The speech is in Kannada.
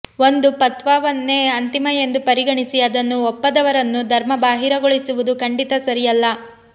ಒಂದು ಫತ್ವಾವನ್ನೇ ಅಂತಿಮ ಎಂದು ಪರಿಗಣಿಸಿ ಅದನ್ನು ಒಪ್ಪದವರನ್ನು ಧರ್ಮ ಬಾಹಿರಗೊಳಿಸುವುದು ಖಂಡಿತ ಸರಿಯಲ್ಲ